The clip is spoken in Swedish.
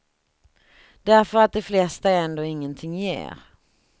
Därför att de flesta ändå ingenting ger.